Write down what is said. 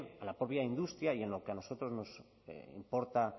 a la propia industria y en lo que a nosotros nos importa